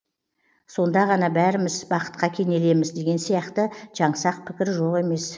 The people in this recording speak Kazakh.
сонда ғана бәріміз бақытқа кенелеміз деген сияқты жаңсақ пікір жоқ емес